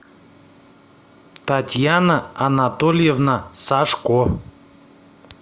татьяна анатольевна сашко